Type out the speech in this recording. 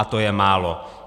A to je málo.